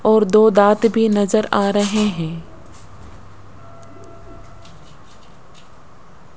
और दो दांत भी नजर आ रहे हैं।